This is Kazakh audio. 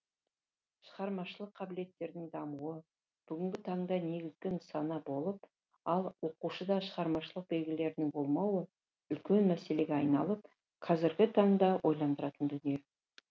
шығармашылық қабілеттердің дамуы бүгінгі таңда негізгі нысана болып ал оқушыда шығармашылық белгілерінің болмауы үлкен мәселеге айналып қазіргі таңда ойландыратын дүние